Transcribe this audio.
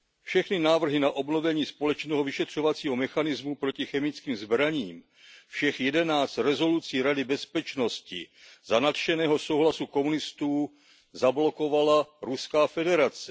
Všechny návrhy na obnovení společného vyšetřovacího mechanismu proti chemickým zbraním, všech jedenáct rezolucí Rady bezpečnosti za nadšeného souhlasu komunistů zablokovala Ruská federace.